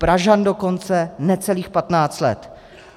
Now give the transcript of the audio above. Pražan dokonce necelých 15 let.